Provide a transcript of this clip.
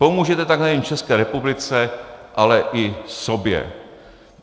Pomůžete tak nejen České republice, ale i sobě.